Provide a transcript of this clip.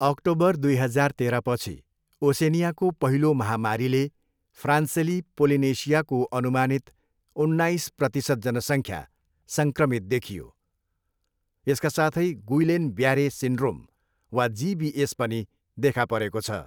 October दुई हजार तेह्रपछि, ओसेनियाको पहिलो महामारीले फ्रान्सेली पोलिनेसियाको अनुमानित उन्नाइस प्रतिशत जनसङ्ख्या सङ्क्रमित देखियो, यसका साथै गुइलेन ब्यारे सिन्ड्रोम वा जिबिएस पनि देखा परेको छ।